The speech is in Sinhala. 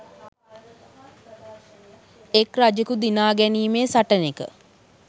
එක් රජෙකු දිනා ගැනීමේ සටනෙක